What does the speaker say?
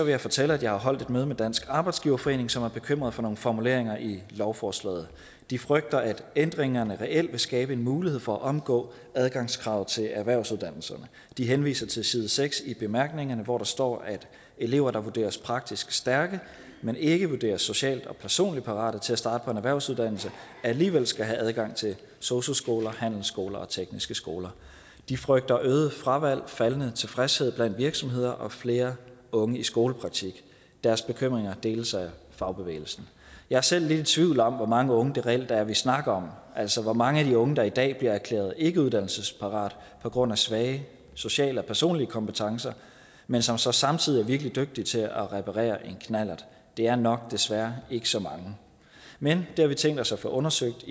jeg fortælle at jeg har holdt et møde i dansk arbejdsgiverforening som er bekymret for nogle formuleringer i lovforslaget de frygter at ændringerne reelt vil skabe en mulighed for at omgå adgangskravet til erhvervsuddannelserne de henviser til side seks i bemærkningerne hvor der står at elever der vurderes praktisk stærke men ikke vurderes socialt og personligt parate til at starte på en erhvervsuddannelse alligevel skal have adgang til sosu skoler handelsskoler og tekniske skoler de frygter øget fravalg faldende tilfredshed blandt virksomheder og flere unge i skolepraktik deres bekymringer deles af fagbevægelsen jeg er selv lidt i tvivl om hvor mange unge det reelt er vi snakker om altså hvor mange af de unge der i dag bliver erklæret ikke uddannelsesparate på grund af svage sociale og personlige kompetencer men som så samtidig er virkelig dygtige til at reparere en knallert det er nok desværre ikke så mange men det har vi tænkt os at få undersøgt